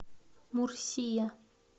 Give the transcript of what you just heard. мурсия